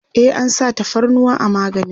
e an sa tafarnuwa a maganin